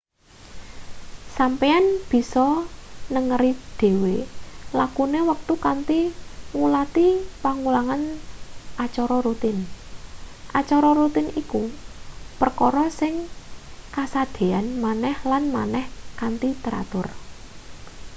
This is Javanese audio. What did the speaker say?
sampeyan bisa nengeri dhewe lakune wektu kanthi ngulati pengulangan acara rutin acara rutin iku perkara sing kasadean maneh lan maneh kanthi teratur